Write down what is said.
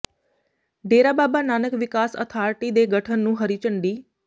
ਡੇਰਾ ਬਾਬਾ ਨਾਨਕ ਵਿਕਾਸ ਅਥਾਰਿਟੀ ਦੇ ਗਠਨ ਨੂੰ ਹਰੀ ਝੰਡੀ